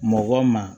Mɔgɔ ma